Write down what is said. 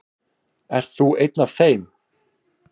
Ert þú einn af þeim?